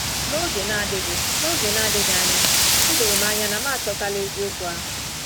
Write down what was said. N’oge na-adịghị N’oge na-adịghị anya, o doro m anya na m achọtala eziokwu ahụ.